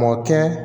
Mɔ kɛ